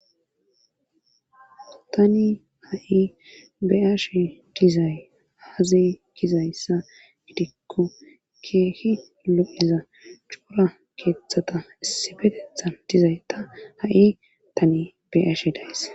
tani ha7i be'ashe dizay aaze gizayssa gidikko keehi lo7eza cora keeththata issibetethan dizay ta ha7i tani be'ashe days